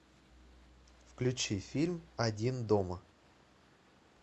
включи фильм один дома